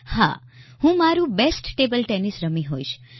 હા હું મારું બેસ્ટ ટેબલ ટેનિસ રમી હોઈશ